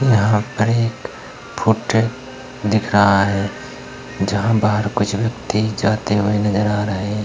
यहाँ पर एक फोटो दिख रहा हैं जहाँ बाहर कुछ व्यक्ति जाते हुए नजर आ रहे हैं।